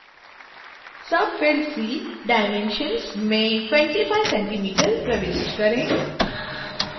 subfield c dimensions में 25 cm प्रविष्ट करें